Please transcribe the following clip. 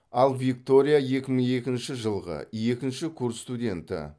ал виктория екі мың екінші жылғы екінші курс студенті